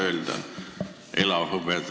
Mitu tonni?